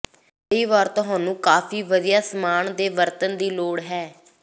ਕਈ ਵਾਰ ਤੁਹਾਨੂੰ ਕਾਫ਼ੀ ਵਧੀਆ ਸਾਮਾਨ ਦੇ ਵਰਤਣ ਦੀ ਲੋੜ ਹੈ